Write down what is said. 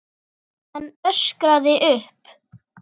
Hann öskraði upp.